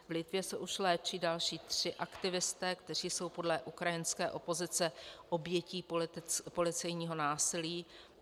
V Litvě se už léčí další tři aktivisté, kteří jsou podle ukrajinské opozice obětí policejního násilí.